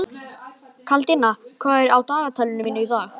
Kládía, hvað er á dagatalinu mínu í dag?